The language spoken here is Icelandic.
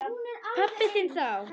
Pabba þinn þá.